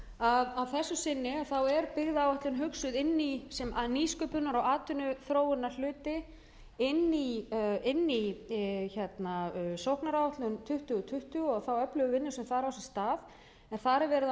að að þessu sinni er byggðaáætlun hugsuð inn í sem nýsköpunar og atvinnuþróunarhluti inn í sóknaráætlun tuttugu tuttugu og þá öflugu vinnu sem þar á sér stað en þar er verið að